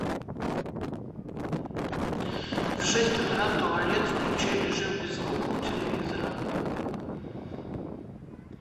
в шесть утра туалет включи режим без звука у телевизора